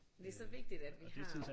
det så vigtigt at vi har